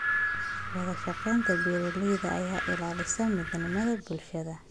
Wadashaqeynta beeralayda ayaa ilaalisa midnimada bulshada.